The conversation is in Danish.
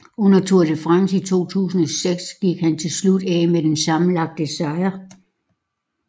Under Tour de France i 2006 gik han til slut af med den sammenlagte sejr